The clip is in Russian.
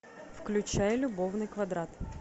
включай любовный квадрат